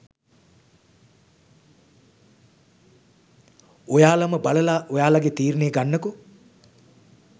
ඔයාලම බලලා ඔයාලගේ තීරණය ගන්නකො..